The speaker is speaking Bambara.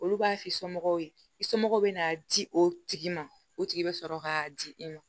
Olu b'a f'i somɔgɔw ye i somɔgɔw bɛna di o tigi ma o tigi bɛ sɔrɔ k'a di i ma